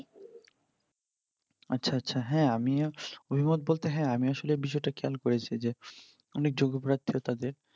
আচ্ছা আচ্ছা হ্যাঁ আমিও অভিমত বলতে হ্যাঁ আমিও আসলে বিষয় তা খেয়াল করেছি যে অনেক যোগ্য প্রার্থীরা তাদের